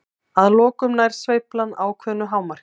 Að lokum nær sveiflan ákveðnu hámarki.